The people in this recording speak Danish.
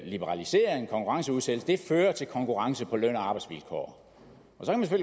liberalisering konkurrenceudsættelse fører til konkurrence på løn og arbejdsvilkår